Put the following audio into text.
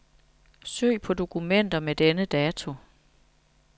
Søg på dokumenter med denne dato.